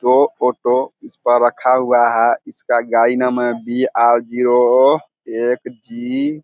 जो फोटो इस पर रखा हुआ है इसका का गाड़ी नंबर बी आर जीरो एक जी --